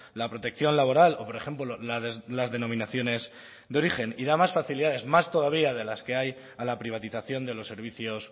la protección laboral o por ejemplo las denominaciones de origen y da más facilidades más todavía de las que hay a la privatización de los servicios